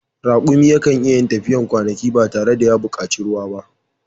Raƙumi yakan iyayin tafiyar kwanaki ba tare da ya buƙaci ruwa ba